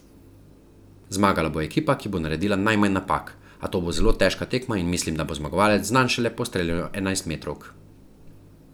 Zmagala bo ekipa, ki bo naredila najmanj napak, a to bo zelo težka tekma in mislim, da bo zmagovalec znan šele po streljanju enajstmetrovk.